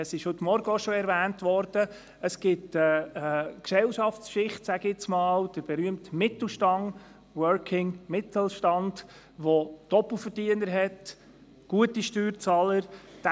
Wie heute Morgen erwähnt wurde, besteht eine Gesellschaftsschicht, der berühmte Mittelstand, der «working» Mittelstand, in dem es Doppelverdiener, also gute Steuerzahler, gibt.